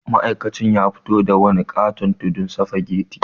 Ma'aikacin ya fito da wani ƙaton tudun sufageti.